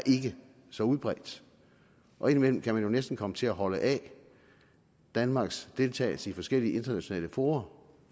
så udbredt og indimellem kan man jo næsten komme til at holde af danmarks deltagelse i forskellige internationale fora